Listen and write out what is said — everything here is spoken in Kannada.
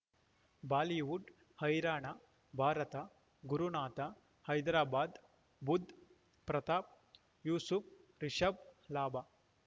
ಬಾಲಿವುಡ್ ಹೈರಾಣ ಭಾರತ ಗುರುನಾಥ ಹೈದರಾಬಾದ್ ಬುಧ್ ಪ್ರತಾಪ್ ಯೂಸುಫ್ ರಿಷಬ್ ಲಾಭ